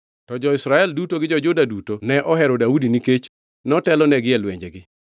To jo-Israel duto gi jo-Juda duto ne ohero Daudi nikech notelonegi e lwenjegi.